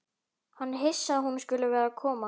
Hann er hissa að hún skuli vera að koma.